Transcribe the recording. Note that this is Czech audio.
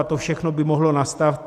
A to všechno by mohlo nastat.